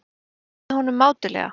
Ég trúði honum mátulega.